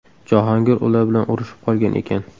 Jahongir ular bilan urushib qolgan ekan.